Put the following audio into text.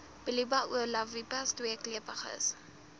bullia ovalipes tweekleppiges